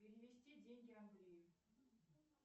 перевести деньги андрею